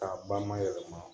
K'a ba mayɛlɛma